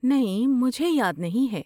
نہیں، مجھے یاد نہیں ہے۔